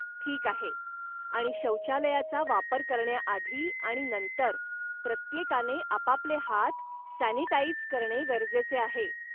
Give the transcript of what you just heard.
ठीक आहे! आणि शौचालयाचा वापर करण्याआधी आणि नंतर, प्रत्येकाने आपापले हात सॅनिटाइझ करणे गरजेचे आहे.